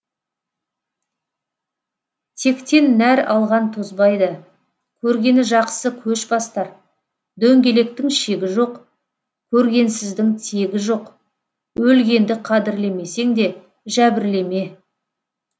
тектен нәр алған тозбайды көргені жақсы көш бастар дөңгелектің шегі жоқ көргенсіздің тегі жоқ өлгенді қадірлемесең де жәбірлеме